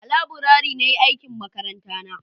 a laburare na yi aikin makaranta na